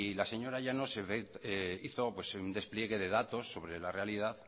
la señora llanos hizo un despliegue de datos sobre la realidad